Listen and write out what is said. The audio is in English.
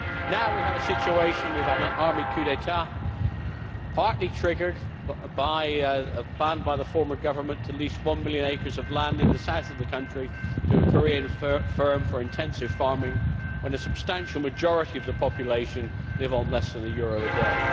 Now we have a situation an army coup d'état partly triggered by a plan by the former government to lease one million acres of land in the south of the country to a Korean firm for intensive farming, when a substantial majority of the population live on less than one euro a day.